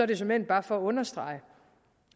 det såmænd bare for at understrege